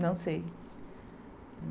Não sei.